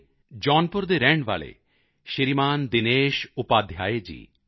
ਦੇ ਜੌਨਪੁਰ ਦੇ ਰਹਿਣ ਵਾਲੇ ਸ਼੍ਰੀਮਾਨ ਦਿਨੇਸ਼ ਉਪਾਧਿਆਇ ਜੀ